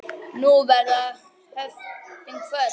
Nú verða höftin kvödd.